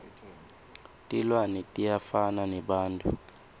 tilwane tiyafana nebantfu